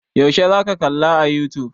Yaushe za ka kalla a youtube?